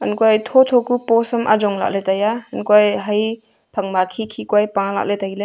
ankuae thotho ku post sam ayong lahley taiya ankuae haye phang ma khikhi koae paley tailey.